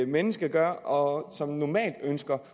menneske gør og end som normalt ønsker